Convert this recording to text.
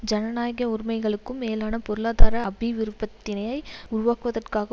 ஜனநாயக உரிமைகளுக்கும் மேலான பொருளாதார அபிவிருப்பத்தினை உருவாக்குவதற்காக